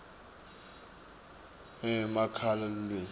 emamaki lulwimi